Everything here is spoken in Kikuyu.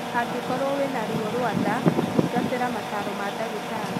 Angĩkorwo wĩna ruo rwa nda, thĩngatĩra mataro ma dagĩtarĩ